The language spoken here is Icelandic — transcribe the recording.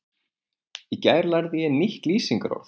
Í gær lærði ég nýtt lýsingarorð.